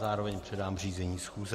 Zároveň předám řízení schůze.